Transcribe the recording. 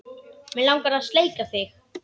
Mig langar að sleikja þig.